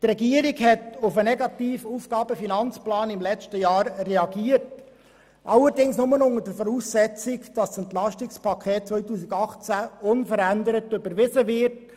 Die Regierung hat auf den negativen AFP im letzten Jahr reagiert, allerdings nur unter der Voraussetzung, dass das EP 2018 unverändert überwiesen wird.